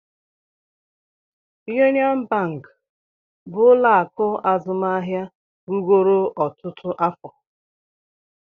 Union bank bụ ụlọ akụ azụmahịa rugoro ọtụtụ afọ